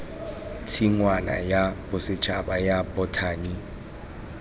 tshingwana ya bosetšhaba ya bothani